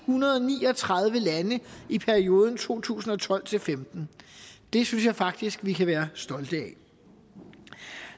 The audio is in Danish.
hundrede og ni og tredive lande i perioden to tusind og tolv til femten det synes jeg faktisk vi kan være stolte af